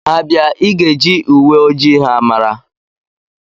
Ha bịa, ịga eji uwe ojii ha mara